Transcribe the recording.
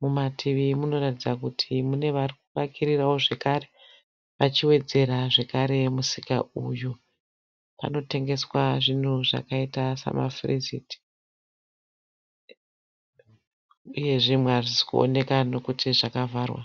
Mumativi munoratidza kuti mune varikuvakirirao zvekare vachiwedzera zvekare musika uyu. Panotengeswa zvinhu zvakaita samafuriziti uye zvimwe hazvisi kuoneka nekuti zvakavharwa.